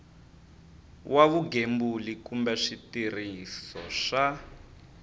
wa vugembuli kumbe switirhiso swa